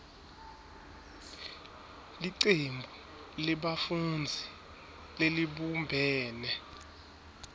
licembu lebafundzi lelibumbene